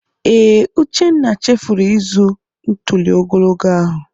Ee, Uchenna chefuru ịzụ ntuli ogologo ahụ.